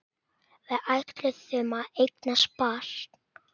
Við ætluðum að eignast barn.